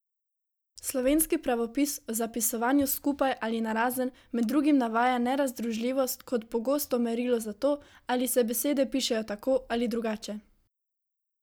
Slovenski pravopis o zapisovanju skupaj ali narazen med drugim navaja nerazdružljivost kot pogosto merilo za to, ali se besede pišejo tako ali drugače.